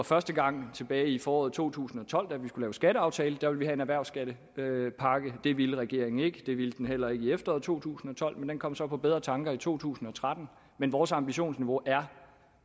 første gang var tilbage i foråret to tusind og tolv da vi skulle lave skatteaftale at vi ville have en erhvervsskattepakke det ville regeringen ikke og det ville den heller ikke i efteråret to tusind og tolv men den kom så på bedre tanker i to tusind og tretten men vores ambitionsniveau er